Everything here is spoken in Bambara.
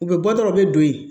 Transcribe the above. U bɛ bɔ dɔrɔn u bɛ don yen